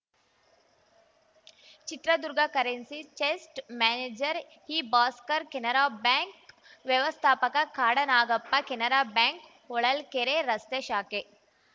Chitradurga currency chest manager ಇಭಾಸ್ಕರ್‌ Canara bank ವ್ಯವಸ್ಥಾಪಕ Kadanagappa Canara bank Holalkere ರಸ್ತೆ ಶಾಖೆ